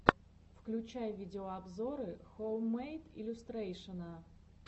включай видеообзоры хоуммэйд иллюстрэйшэна